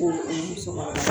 Ko u musokɔrɔba dama